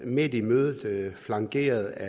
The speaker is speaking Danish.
midt i mødet flankeret af